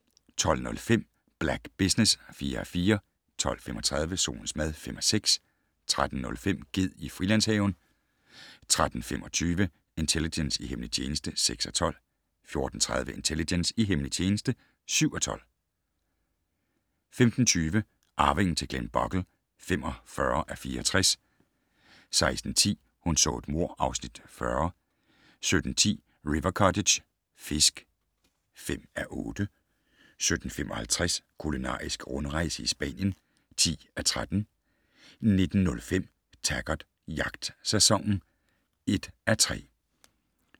12:05: Black business (4:4) 12:35: Solens mad (5:6) 13:05: Ged i Frilandshaven 13:35: Intelligence - i hemmelig tjeneste (6:12) 14:30: Intelligence - i hemmelig tjeneste (7:12) 15:20: Arvingen til Glenbogle (45:64) 16:10: Hun så et mord (Afs. 40) 17:10: River Cottage - fisk (5:8) 17:55: Kulinarisk rundrejse i Spanien (10:13) 19:05: Taggart: Jagtsæson (1:3)